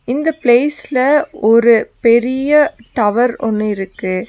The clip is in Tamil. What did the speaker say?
இந்த ப்ளேஸ்ல ஒரு பெரிய டவர் ஒன்னு இருக்கு.